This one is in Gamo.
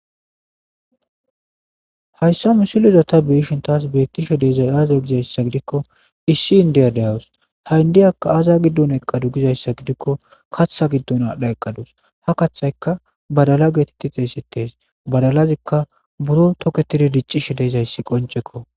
Haysa misileza ta be'ashe tas betishe dizaysa aze gizaysa gidikko Issi indiya de'eawus ha indiyakka aza gidon eqade gizaysa gidikko katha gidon adha eqadusu ha kathaykka badala getetidi xeysetes badalazikka buro toketidi dicishe de'izaysi qoncekko